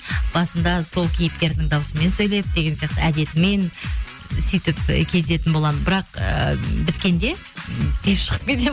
басында сол кейіпкердің дауысымен сөйлеп деген сияқты әдетімен сөйтіп ы кезетін боламын бірақ ыыы біткенде тез шығып кетемін